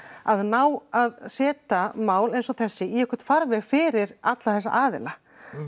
að ná að setja mál eins og þessi í einhvern farveg fyrir alla þess aðila